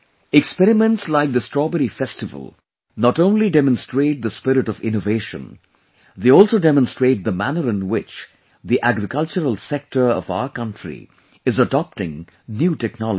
experiments like the Strawberry Festival not only demonstrate the spirit of Innovation ; they also demonstrate the manner in which the agricultural sector of our country is adopting new technologies